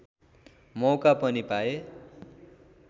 मौका पनि पाए